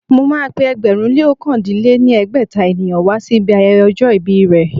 Mo ma pé ẹgbẹ̀rún lé ókàndínogún lé ní ẹgbẹ́ta ènìyàn wá sí ibi ayẹyẹ ọjọ́ ìbí rẹ̀